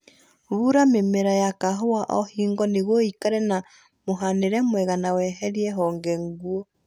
Bura mĩmera ya kahũa o hingo nĩguo ĩikare na mũhanĩre mwega na weherie honge nguũ